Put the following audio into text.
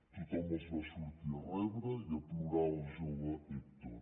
tothom els va sortir a rebre i a plorar el jove hèctor